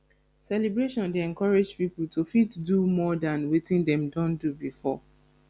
celebration dey encourage pipo to fit do more than wetin dem don do before